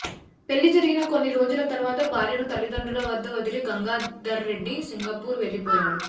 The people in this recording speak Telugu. పెళ్లి జరిగిన కొన్ని రోజుల తర్వాత భార్యను తల్లిదండ్రుల వద్ద వదిలి గంగాధర్రెడ్డి సింగపూర్ వెళ్లిపోయాడు